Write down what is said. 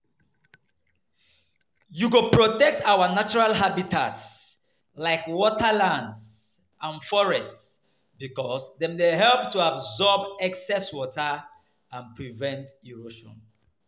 We go protect our natural habitats like wetlands and forests because dem help to absorb excess water and prevent erosion.